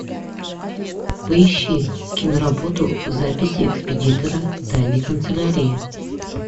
поищи киноработу записи экспедитора тайной канцелярии